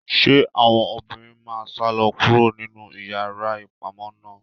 Se àwọn obìnrin ma salọ kuro ninu iyàrá ìpamọ náà?